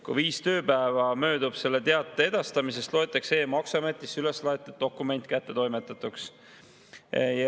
Kui viis tööpäeva on möödunud teate edastamisest, loetakse e-maksuametisse üleslaetud dokument kättetoimetatuks.